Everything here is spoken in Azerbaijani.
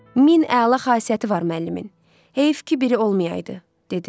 Min əla xasiyyəti var müəllimin, heyf ki, biri olmayaydı, dedi.